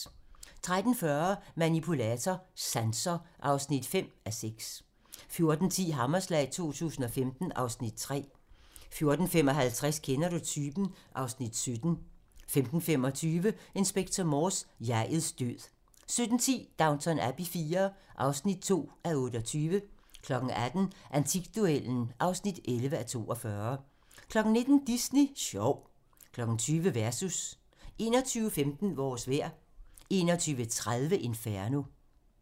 13:40: Manipulator - Sanser (5:6) 14:10: Hammerslag 2015 (Afs. 3) 14:55: Kender du typen? (Afs. 17) 15:25: Inspector Morse: Jeg'ets død 17:10: Downton Abbey IV (2:28) 18:00: Antikduellen (11:42) 19:00: Disney Sjov 20:00: Versus 21:15: Vores vejr 21:30: Inferno